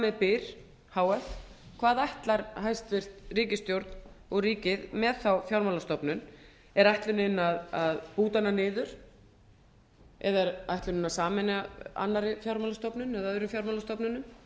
með byr h f hvað ætlar hæstvirt ríkisstjórn og ríkið með þá fjármálastofnun er ætlunin að búta hana niður eða er ætlunin að sameina annarri fjármálastofnun eða öðrum fjármálastofnunum